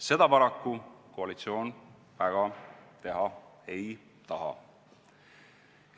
Seda paraku koalitsioon väga teha ei taha.